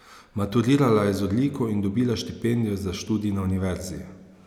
Maturirala je z odliko in dobila štipendijo za študij na univerzi.